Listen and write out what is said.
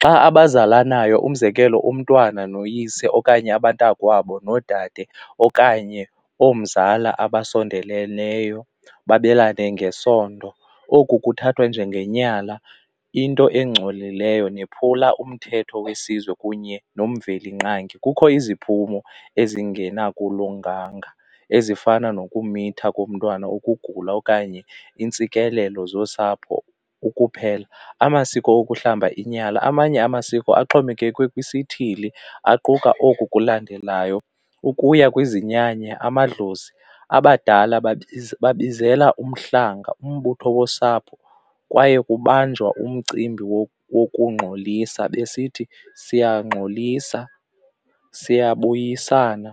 Xa abazalanayo umzekelo umntwana noyise okanye abantakwabo nodade okanye oomzalayo abasondeleleyo babelane ngesondo oku kuthathwa njengenyala into engcolileyo nephula umthetho wesizwe kunye nomveli nqangi. Kukho iziphumo ezingena kulunganga ezifana nokumitha komntwana, ukugula okanye iintsikelelo zosapho ukuphela. Amasiko ukuhlamba inyala, amanye amasiko axhomekeke kwisithili aquka oku kulandelayo, ukuya kwizinyanya amadlozi abadala babizela uhlanga umbutho wosapho kwaye kubanjwa umcimbi wokungxolisa besithi siyangxolisa siyabuyisana